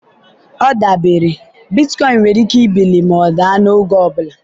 ọ dabere, bitcoin nwere ike ibili ma daa n'oge ọ bụla.